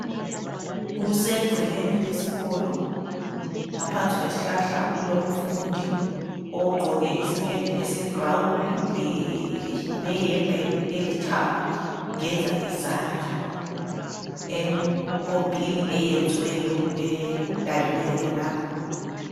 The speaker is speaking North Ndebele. Kusegcekeni lesikolo ngaphansi kwesihlahla kulomfundi ogqoke isiketi esiyibhurawuni leyembe elithanga ugeza izandla empompini eyenziweyo edaliweyo khonapho .